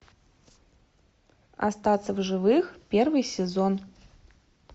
остаться в живых первый сезон